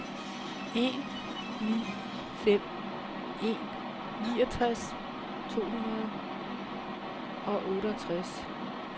en ni fem en niogtres to hundrede og otteogtres